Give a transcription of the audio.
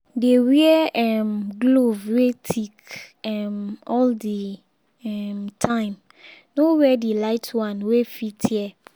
dey wear um glove wey thick um all the um time—no wear the light one wey fit tear.